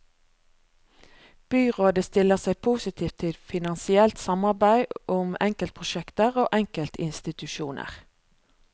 Byrådet stiller seg positivt til finansielt samarbeid om enkeltprosjekter og enkeltinstitusjoner.